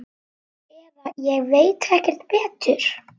Eða ég veit ekki betur.